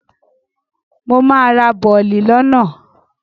Mo máa ra bọ̀lì lọ́nà.